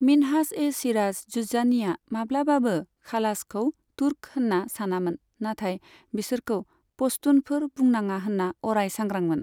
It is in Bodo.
मिन्हाज ए सिराज जुज्जानीआ माब्लाबाबो खालाजखौ तुर्क होनना सानामोन, नाथाय बिसोरखौ पश्तुनफोर बुंनाङा होन्ना अराय सांग्रांमोन।